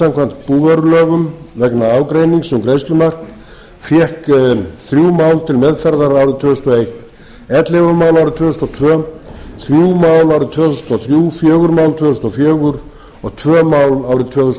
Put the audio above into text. samkvæmt búvörulögum vegna ágreinings um greiðslumark fékk þrjú mál til meðferðar árið tvö þúsund og eitt ellefu mál árið tvö þúsund og tvö þrjú mál árið tvö þúsund og þrjú fjögur mál tvö þúsund og fjögur og tvö mál árið tvö þúsund